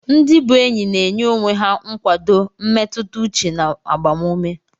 Ndị bu enyi na-enye onwe ha nkwado mmetụta uche na agbamume.